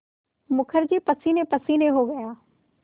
मुखर्जी पसीनेपसीने हो गया